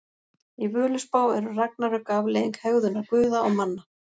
Í Völuspá eru ragnarök afleiðing hegðunar guða og manna.